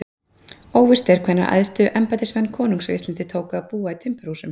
Óvíst er hvenær æðstu embættismenn konungs á Íslandi tóku að búa í timburhúsum.